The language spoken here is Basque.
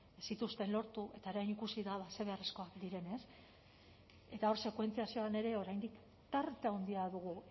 ez zituzten lortu eta orain ikusi da ze beharrezkoak diren ez eta hor sekuentziazioan ere oraindik tarte handia dugu